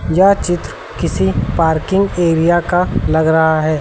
यह चित्र किसी पार्किंग एरिया का लग रहा है।